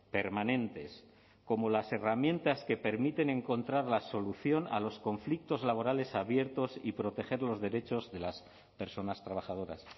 permanentes como las herramientas que permiten encontrar la solución a los conflictos laborales abiertos y proteger los derechos de las personas trabajadoras